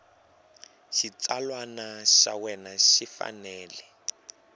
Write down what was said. xitsalwana xa wena xi fanele